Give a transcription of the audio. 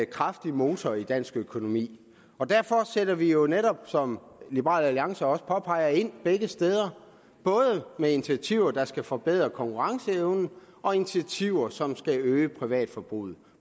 kraftig motor i dansk økonomi og derfor sætter vi jo netop som liberal alliance også påpeger det ind begge steder både med initiativer der skal forbedre konkurrenceevnen og initiativer som skal øge privatforbruget